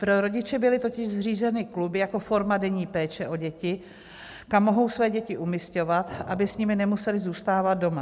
Pro rodiče byly totiž zřízeny kluby jako forma denní péče o děti, kam mohou své děti umisťovat, aby s nimi nemuseli zůstávat doma.